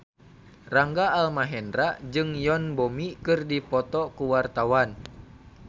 Rangga Almahendra jeung Yoon Bomi keur dipoto ku wartawan